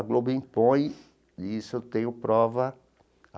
A Globo impõe isso, eu tenho prova.